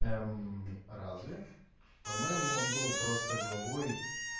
разве по-моему он был просто главой